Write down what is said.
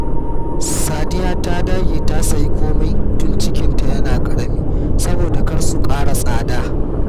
Sadiya ta dage ta sayi komai tun cikinta yana ƙarami, saboda kar su ƙara tsada